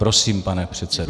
Prosím, pane předsedo.